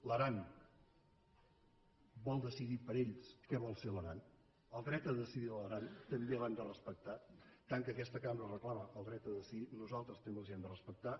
l’aran vol decidir per ells què vol ser l’aran el dret a decidir de l’aran també l’hem de respectar tant que aquesta cambra reclama el dret a decidir nosaltres també els l’hem de respectar